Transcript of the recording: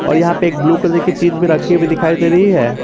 और यहां पे एक ब्लू कलर कि चीज भी रखी हुए दिखाई दे रही है।